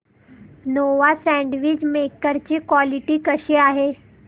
Nova sandwich maker ची quality कशी आहे